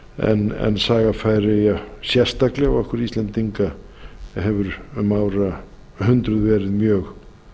saga færeyja sérstaklega okkar íslendinga hefur um árhundruð verið mjög